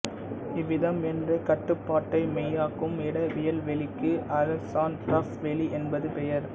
இவ்விதம் என்ற கட்டுப்பாட்டை மெய்யாக்கும் இடவியல்வெளிக்கு ஹௌஸ்டார்ப்ஃ வெளி என்று பெயர்